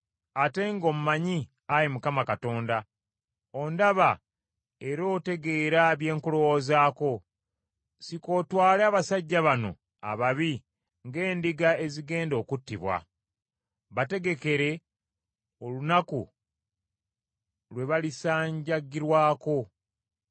Ate ng’ommanyi Ayi Mukama Katonda, ondaba era otegeera bye nkulowoozaako. Sika otwale abasajja bano ababi ng’endiga ezigenda okuttibwa. Bategekere olunaku lwe balisanjagirwako.